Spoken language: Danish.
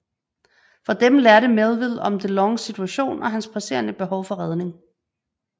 Fra dem lærte Melville om De Longs situation og hans presserende behov for redning